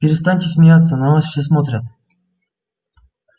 перестаньте смеяться на вас все смотрят